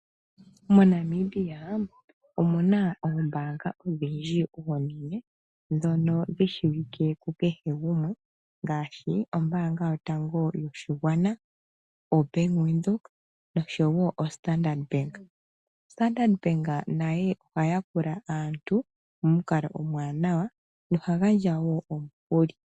Monamibia omuna oombanga odhindji ndhono dhi shiwike kukuhe gumwe ngaashi ombaanga yotango yopashigwana, ombaanga yaVenduka oshowo Standard Bank. Ombaanga ya standard nayo ohayi yakula aantu momukalo omuwanawa ,oha gandja woo omukuli.